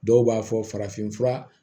Dɔw b'a fɔ farafin fura